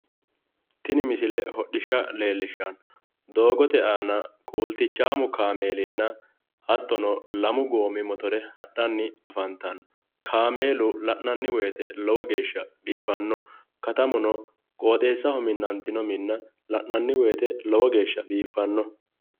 tini misile hodhishsha leellishshanno doogote aana kuultichaamu kaameelinna hattono lamu goommi motore hadhanni afantanno kaameelu la'nanni wote lowo geeshsha biifannoho katamuno qooxeessaho minantino minnano la'nanni wote lowo geeshsha biiffanno,